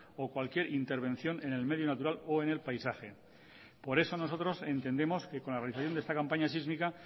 o cualquier intervención en el medio natural o en el paisaje por eso nosotros entendemos que con la realización de esta campaña sísmica